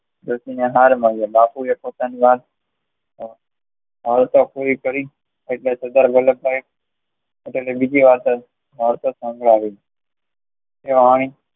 ડોશી હાર મળ્યો. બાપુએ પોતાની વાત વાર્તા પૂરી કરી એટ્લે સરદાર વલ્લભભાઈએ એટ્લે બીજી વાર્તાઓ સાંભળાવી.